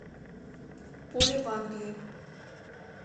поле в англии